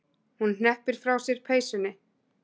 Hún hneppir frá sér peysunni.